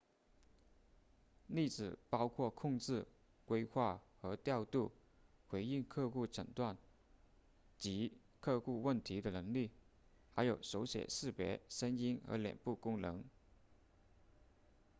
例子包括控制规划和调度回应客户诊断及客户问题的能力还有手写识别声音和脸部功能